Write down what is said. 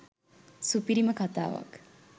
සුපිරිම කතාවක්.